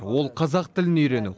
ол қазақ тілін үйрену